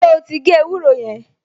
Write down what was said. Ṣé ó ti gé ewúro yẹn?